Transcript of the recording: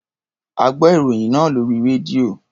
A gbọ́ ìròyìn náà lórí rédíò.